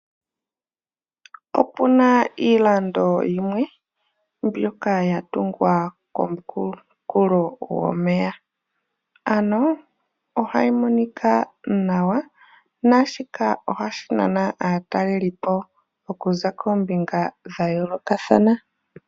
Ope na iikando yimwe mbyoka ya tungwa komunkulo gomeya ano ogayi monika nawa naashika ohashi nana aatalelipo okuza koombinga dhayolokathana.